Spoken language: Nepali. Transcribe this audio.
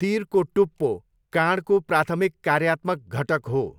तिरको टुप्पो काँडको प्राथमिक कार्यात्मक घटक हो।